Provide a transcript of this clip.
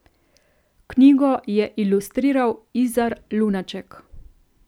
Knjigo je ilustriral Izar Lunaček.